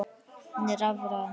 Hún er rafræn.